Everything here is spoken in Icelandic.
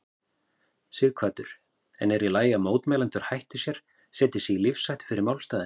Sighvatur: En er í lagi að mótmælendur hætti sér, setji sig í lífshættu fyrir málstaðinn?